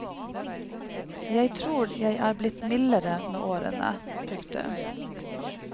Jeg tror jeg er blitt mildere med årene. punktum